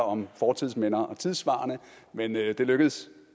om fortidsminder og tidssvarende men det lykkedes